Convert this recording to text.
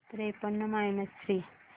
त्रेपन्न minus three